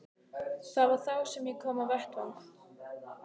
Það var þá sem ég kom á vettvang.